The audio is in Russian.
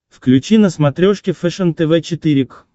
включи на смотрешке фэшен тв четыре к